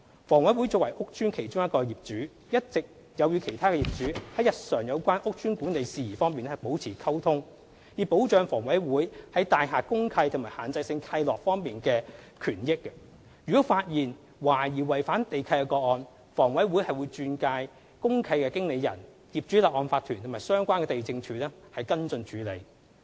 房委會作為屋邨的其中一個業主，一直有與其他業主在日常有關屋邨管理事宜方面保持溝通，以保障房委會在大廈公契及限制性契諾方面的權益，如果發現懷疑違反地契的個案，房委會會轉介公契經理人、業主立案法團及相關地政處跟進處理。